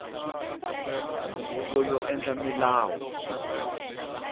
na huvo yo endla milawu